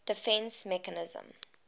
defence mechanism